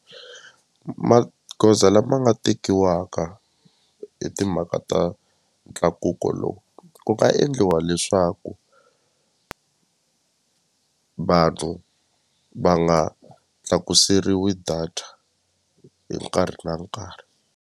Magoza lama nga tekiwaka hi timhaka ta ntlakuko lowu ku nga endliwa leswaku vanhu va nga tlakuseriwi data hi nkarhi na nkarhi.